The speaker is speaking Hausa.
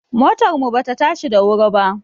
Motar mu ba ta tashi da wuri ba